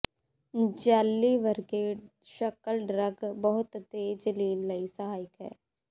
jelly ਵਰਗੇ ਸ਼ਕਲ drug ਬਹੁਤ ਤੇਜ਼ ਲੀਨ ਲਈ ਸਹਾਇਕ ਹੈ